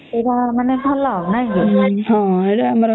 ଏଇଟା ଆମର ଭଲ